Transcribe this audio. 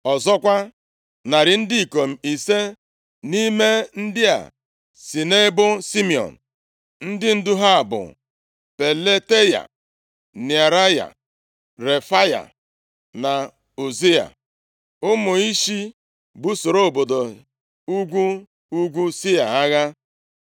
Ọzọkwa, narị ndị ikom ise nʼime ndị a si nʼebo Simiọn, ndị ndu ha bụ Pelataya, Nearaya, Refaya na Uziel, ụmụ Ishi busoro obodo ugwu ugwu Sia agha.